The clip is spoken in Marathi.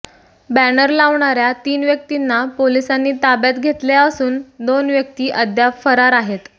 बॅनर लावणाऱ्या तीन व्यक्तींना पोलिसांनी ताब्यात घेतले असून दोन व्यक्ती अद्याप फरार आहेत